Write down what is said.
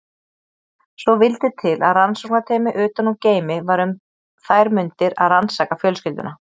Svo vildi til að rannsóknarteymi utan úr geimi var um þær mundir að rannsaka fjölskylduna.